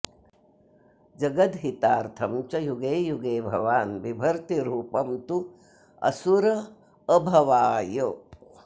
जगद्धितार्थं च युगे युगे भवान् विभर्ति रूपं त्वसुराभवाय